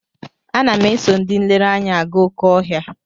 Ana m eso ndị nlereanya aga oké ọhịa.